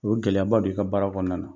O ye gɛlɛyaba don i ka baara kɔnɔna na.